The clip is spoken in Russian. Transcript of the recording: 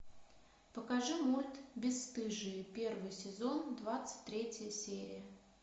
покажи мульт бесстыжие первый сезон двадцать третья серия